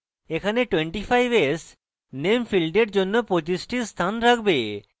এখানে 25s name ফীল্ডের জন্য 25s টি স্থান রাখবে